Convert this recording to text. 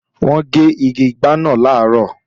Wọ́n gé igi ìgbá náà làárọ̀